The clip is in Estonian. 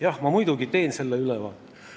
Jah, ma muidugi teen selle ülevaate.